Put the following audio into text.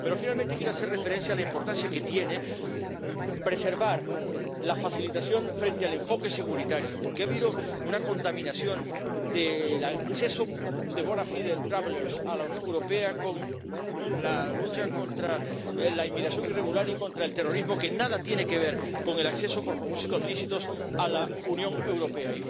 Pero finalmente quiero hacer referencia a la importancia que tiene preservar la facilitación frente al enfoque centrado en la seguridad, porque ha habido una contaminación del acceso de los viajeros de buena fe a la Unión Europea con la lucha contra la inmigración irregular y contra el terrorismo, que nada tiene que ver con el acceso por propósitos lícitos a la Unión Europea.